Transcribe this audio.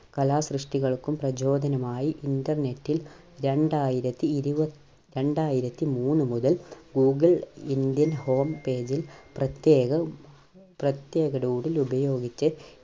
കലാസൃഷ്ടികൾക്കും പ്രചോദനമായി Internet ൽ രണ്ടായിരത്തിയിരു രണ്ടായിരത്തിമൂന്നു മുതൽ Google Indian Home page ൽ പ്രത്യേകം, പ്രത്യേക doodle ഉപയോഗിച്ച്